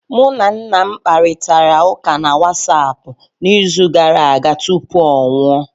Mụ na nna m kparịtara ụka na Wasapụ n'izu gara aga tupu ọ nwụọ